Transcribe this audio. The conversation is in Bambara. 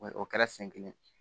O kɛra siɲɛ kelen